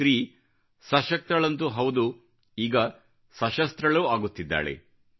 ಸ್ತ್ರೀ ಸಶಕ್ತಳಂತೂ ಹೌದು ಈಗ ಸಶಸ್ತ್ರಳೂ ಆಗುತ್ತಿದ್ದಾಳೆ